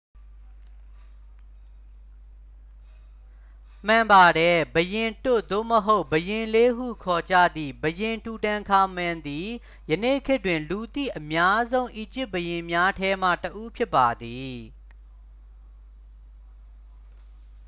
"မှန်ပါတယ်။ "ဘုရင်တွတ်" သို့မဟုတ် "ဘုရင်လေး" ဟု ခေါ်ကြသည့် ဘုရင် တူတန်ခါမန်သည် ယနေ့ခေတ်တွင် လူသိအများဆုံး အီဂျစ်ဘုရင်များထဲမှတစ်ဦး ဖြစ်ပါသည်။